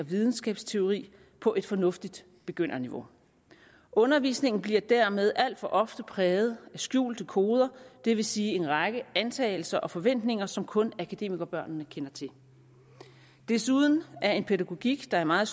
videnskabsteori på et fornuftigt begynderniveau undervisningen bliver dermed alt for ofte præget af skjulte koder det vil sige en række antagelser og forventninger som kun akademikerbørnene kender til desuden er en pædagogik der i meget